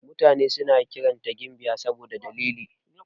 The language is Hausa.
Mutane suna kiranta gimbiya saboda dalili.